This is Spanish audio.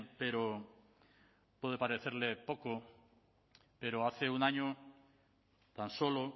pero puede parecerle poco pero hace un año tan solo